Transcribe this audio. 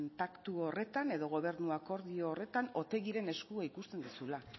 paktu horretan edo gobernu akordio horretan otegiren eskua ikusten duzula